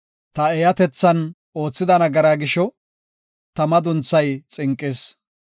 Ta eeyatethan oothida nagara gisho, ta madunthay xinqis.